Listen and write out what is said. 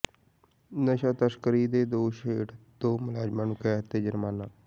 ਨਸ਼ਾ ਤਸਕਰੀ ਦੇ ਦੋਸ਼ ਹੇਠ ਦੋ ਮੁਲਜ਼ਮਾਂ ਨੂੰ ਕੈਦ ਤੇ ਜੁਰਮਾਨਾ